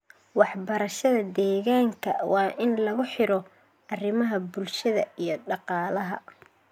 Waxbarashada deegaanka waa in lagu xiro arrimaha bulshada iyo dhaqaalaha.